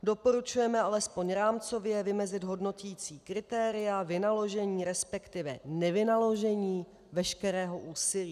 Doporučujeme alespoň rámcově vymezit hodnoticí kritéria vynaložení, respektive nevynaložení veškerého úsilí.